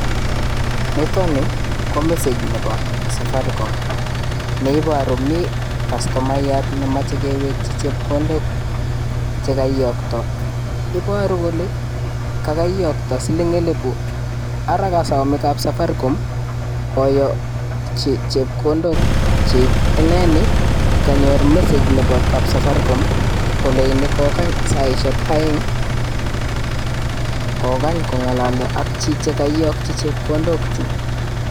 Nitoni ko message nepo safaricon neiporu, mi castomaiyat nemache kewekchi chepkondok chekaiyokto, iporu kole kakaiyokto siling elipu ara kasome kapsafaricom koyokchi chepkondok chik ineni kanyor message nepo kapsafaricom koleini kokany saishek aeng kokany kongalalya ak chiche kaiyokchi chepkondok chu